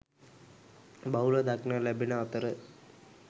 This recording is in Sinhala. බහුලව දක්නට ලැබෙන අතර